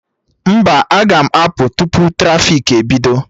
Mba, aga m apụ tupu trafiki ebido